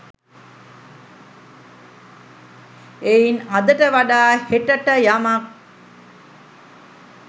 එයින් අදට වඩා හෙටට යමක්